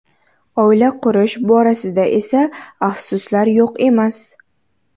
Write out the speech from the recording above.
Oila qurish borasida esa afsuslar yo‘q emas.